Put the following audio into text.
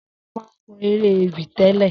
Sewa má kõ eré-èwí télé